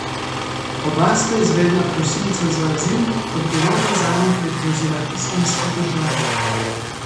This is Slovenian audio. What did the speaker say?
Oba sta izvedla prosilca za azil, odgovornost zanje pa je prevzela Islamska država.